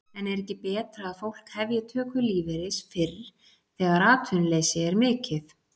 En er ekki betra að fólk hefji töku lífeyris fyrr þegar atvinnuleysi er mikið?